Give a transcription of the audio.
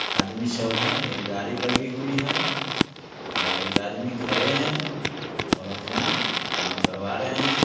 आदमी सब है एक गाड़ी लगी हुई है और एक आदमी खड़े है और अपना काम करवा रहे है।